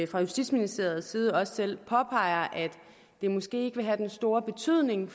fra justitsministeriets side også selv påpeger at det måske ikke vil have den store betydning